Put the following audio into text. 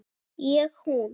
Ég hún.